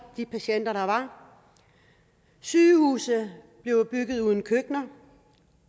de patienter der var sygehuse bliver bygget uden køkkener